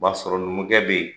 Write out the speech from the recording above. B'a sɔrɔ numukɛ bɛ yen